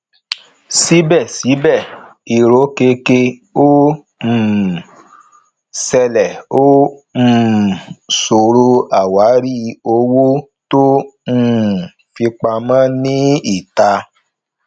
síbẹsíbẹ irokeke ó um ṣẹlẹ ó um ṣòro àwárí owó tó um fi pamọ ní ìta